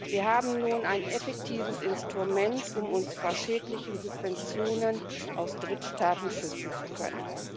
Wir haben nun ein effektives Instrument, um uns vor schädlichen Subventionen aus Drittstaaten schützen zu können.